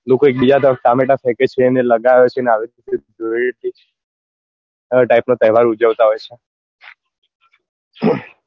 લોકો એક બીજા પર ટામેટા ફેકે છે ને લગાવે છે ને આવી રીતે આવા type નો તહેવાર ઉજવતા હોય છે